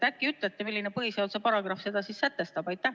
Äkki ütlete, milline põhiseaduse paragrahv seda siis sätestab?